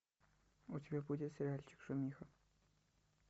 у тебя будет сериальчик шумиха